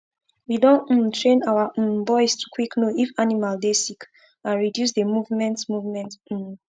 we doh um train our um boys to quick know if animal dey sick and reduce the movement movement um